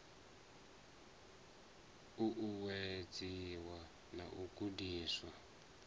u uwedziwe na u gudiswa